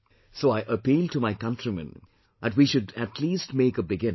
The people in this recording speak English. So I appeal to my countrymen, that we should at least make a beginning